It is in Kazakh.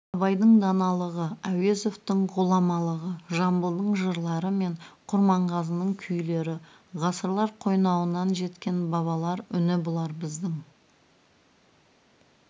абайдың даналығы әуезовтің ғұламалығы жамбылдың жырлары мен құрманғазының күйлері ғасырлар қойнауынан жеткен бабалар үні бұлар біздің